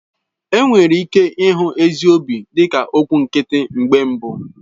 Enwere ike ịhụ ezi obi dịka okwụ nkịtị mgbe mbụ.